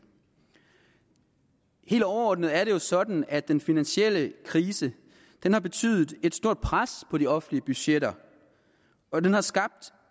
helt overordnet er det jo sådan at den finansielle krise har betydet et stort pres på de offentlige budgetter og at den har skabt